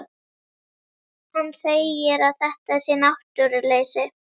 Hann segir að þetta sé náttúruleysi.